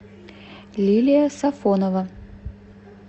лилия сафонова